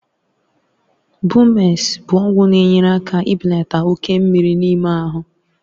Bumex bụ ọgwụ na-enyere aka ibelata oke mmiri n'ime ahụ.